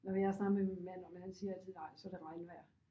Nå men jeg har snakket med min mand om det han siger altid nej så er det regnvejr